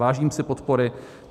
Vážím si podpory.